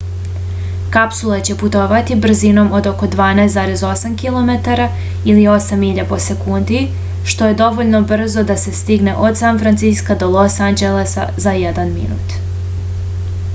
kapsula će putovati brzinom od oko 12,8 kilometara ili 8 milja po sekundi što je dovoljno brzo da se stigne od san franciska do los anđelesa za jedan minut